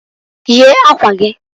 Yie akwa giǃ